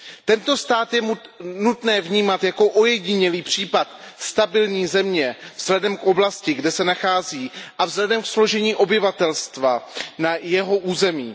Tento stát je nutné vnímat jako ojedinělý případ stabilní země vzhledem k oblasti, kde se nachází, a vzhledem ke složení obyvatelstva na jeho území.